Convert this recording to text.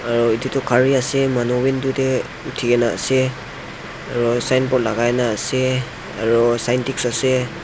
aru edu tu gari ase manu window tae uthikena ase aru signboard lakai na ase aro sintix ase.